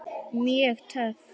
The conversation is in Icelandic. Mjög töff.